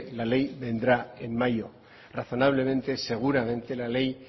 la ley vendrá en mayo razonablemente seguramente la ley